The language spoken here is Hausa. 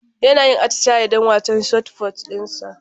Yana yin atisaye don wasan shotput dinsa